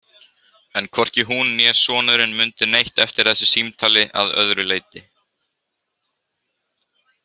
En hvorki hún né sonurinn mundu neitt eftir þessu símtali að öðru leyti.